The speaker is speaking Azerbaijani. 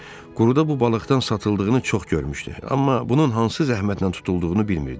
Quruda bu balıqdan satıldığını çox görmüşdü, amma bunun hansı zəhmətlə tutulduğunu bilmirdi.